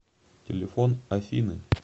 телефон афины